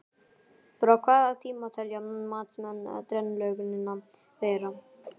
Frá hvaða tíma telja matsmenn drenlögnina vera?